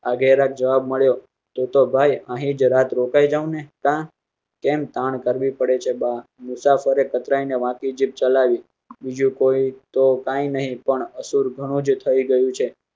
ગ્રા જવાબ મળ્યો તો તો ભાઈ અહીજ રાત રોકાયી જવો ને કેમ તાણ કરવી પડે છે? બા મુસાફરે કતરાઇને વાંકી જીભ ચલાવી બીજુ કોઈ તો કઈ નહિ પણ અસૂર ઘણું થઇ ગયું છે